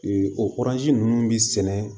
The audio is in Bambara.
o ninnu bɛ sɛnɛ